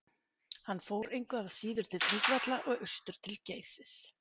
hann fór engu að síður til þingvalla og austur til geysis